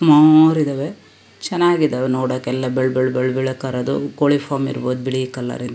ಮೌರಿದವೆ ಚನ್ನಾಗಿದಾವೆ ನೋಡೋಕೆ ಎಲ್ಲಾ ಬೆಳ್ಳ ಬೆಳ್ಳ ಬೆಳ್ಳ ಕರದು ಕೋಳಿ ಫಾರಂ ಇರ್ಬೊದು ಬಿಳೀ ಕಲರಿಂ .